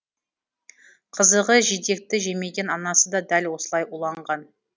қызығы жидекті жемеген анасы да дәл осылай уланған